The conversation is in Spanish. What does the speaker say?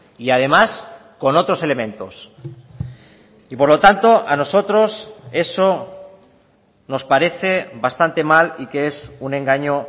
y además con otros elementos y por lo tanto a nosotros eso nos parece bastante mal y que es un engaño